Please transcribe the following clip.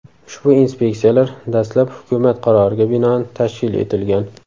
Ushbu inspeksiyalar dastlab hukumat qaroriga binoan tashkil etilgan.